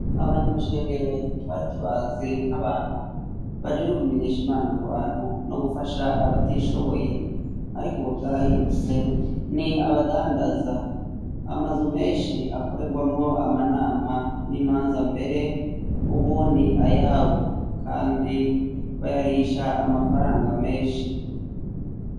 Abanyamashengero twari tubazi nk'abantu bajejwe kumenyesha Imana mu bantu no gufasha abatishoboye, ariko ubu vyarahindutse ni abadandaza, amazu menshi akoregwamwo amanama n'imanza mbere ubu ni ayabo kandi bayarihisha amafaranga menshi.